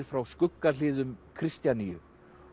frá skuggahliðum Kristjaníu